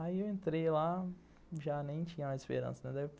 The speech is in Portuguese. Aí eu entrei lá, já nem tinha uma esperança.